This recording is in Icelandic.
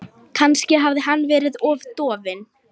Þá leggur hann árar í bát.